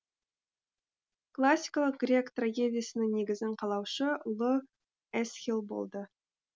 классикалық грек трагедиясының негізін қалаушы ұлы эсхил болды